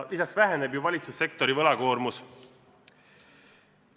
Lisaks väheneb valitsussektori võlakoormus.